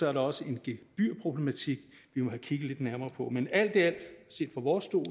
er der også en gebyrproblematik vi må have kigget lidt nærmere på men alt i alt set fra vores stol